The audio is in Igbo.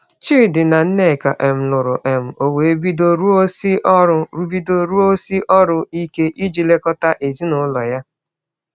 Chidi na Nneka um lụrụ, um o wee bido rụọsi ọrụ bido rụọsi ọrụ ike iji lekọta ezinụlọ ya.